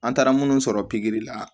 An taara munnu sɔrɔ la